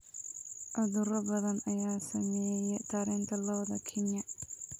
Cudurro badan ayaa saameeya taranta lo'da Kenya.